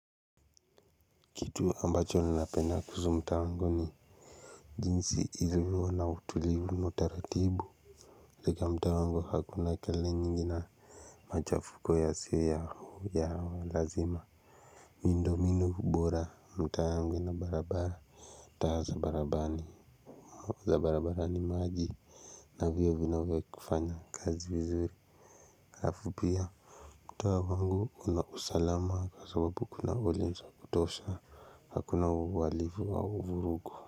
Kitu ambacho ninapenda kuhusu mta wangu ni jinsi ilivyo na utulivu na utaratibu katika mtaa wangu hakuna kelele nyingi na machafuko yasiyo ya lazima. Miundominu bora mtaa yangu ina barabara. Taa za barabara ni maji na vio vinavyo kufanya kazi vizuri. Afu pia mta wangu unausalama kwa sababu kuna ulinza wa kutosha hakuna uhalifu wa vurugu.